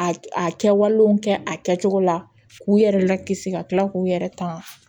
A a kɛwalew kɛ a kɛcogo la k'u yɛrɛ lakisi ka kila k'u yɛrɛ ta